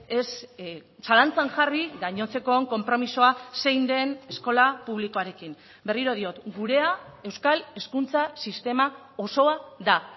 ez zalantzan jarri gainontzekoon konpromisoa zein den eskola publikoarekin berriro diot gurea euskal hezkuntza sistema osoa da